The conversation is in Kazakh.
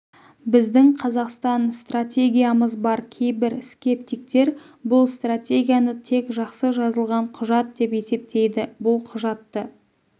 біздің қазақстан стратегиямыз бар кейбір скептиктер бұл стратегияны тек жақсы жазылған құжат деп есептейді бұл құжатты